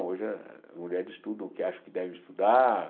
Hoje as mulheres estudam o que acham que devem estudar.